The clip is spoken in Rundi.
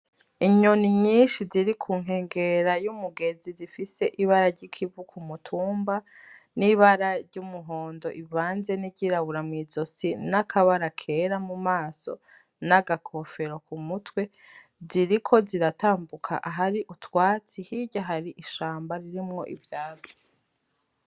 Inyoni nyishi ziri ku nkengera y'umugezi zifise ibara ry'ikivu ku mutumba n'ibara ry'umuhondo rivanze n'iryirabura mu izosi n'akabara kera mu maso n'agakofero ku mutwe ziriko ziratambuka ahari utwatsi hirya hari ishamba ririmwo ivyatsi.